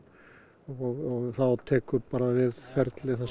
þá tekur við ferli þar sem